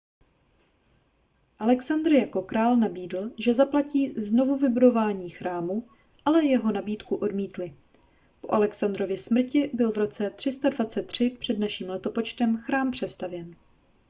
alexandr jako král nabídl že zaplatí znovuvybudování chrámu ale jeho nabídku odmítli po alexandrově smrti byl v roce 323 př n l chrám přestavěn